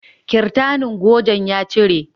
Kirtanin gojen ya cire